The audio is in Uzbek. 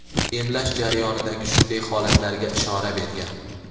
emlash jarayonidagi shunday holatlarga ishora bergan:.